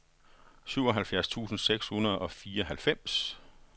syvoghalvfjerds tusind seks hundrede og fireoghalvfems